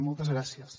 moltes gràcies